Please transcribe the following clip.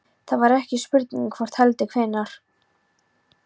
Það var ekki spurning um hvort heldur hvenær.